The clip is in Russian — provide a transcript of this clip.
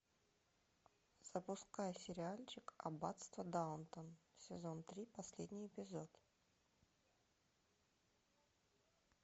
запускай сериальчик аббатство даунтон сезон три последний эпизод